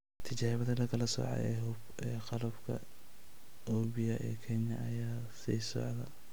Tijaabada la kala soocay ee Hub ee qalabka Oppia ee Kenya ayaa sii socota